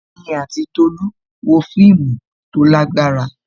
Èmi àti Tolu wo fíìmù tó lágbára.